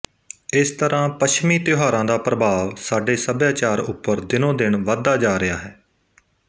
ਇਸ ਤਰ੍ਹਾਂ ਪੱਛਮੀ ਤਿਉਹਾਰਾਂ ਦਾ ਪ੍ਰਭਾਵ ਸਾਡੇ ਸੱਭਿਆਚਾਰ ਉੱਪਰ ਦਿਨੋਂ ਦਿਨ ਵਧਦਾ ਜਾ ਰਿਹਾ ਹੈ